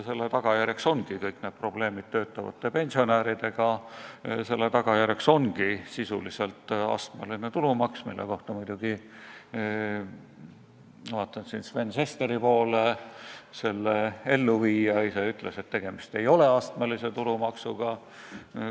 Selle tagajärjeks ongi kõik need probleemid töötavate pensionäridega, selle tagajärjeks ongi sisuliselt astmeline tulumaks, mille kohta muidugi – ma vaatan Sven Sesteri poole – selle elluviija ise ütles, et tegemist ei ole astmelise tulumaksuga.